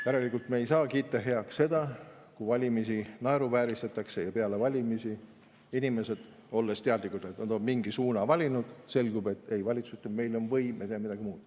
Järelikult me ei saa kiita heaks seda, kui valimisi naeruvääristatakse ja peale valimisi, kui inimesed on teadlikud, et nad on mingi suuna valinud, selgub, et valitsus ütleb, et neil on võim ja nad teevad midagi muud.